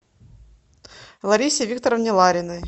ларисе викторовне лариной